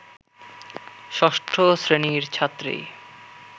ষষ্ঠ শ্রেণির ছাত্রী